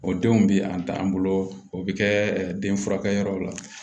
O denw bi an ta an bolo o bɛ kɛ den furakɛyɔrɔ la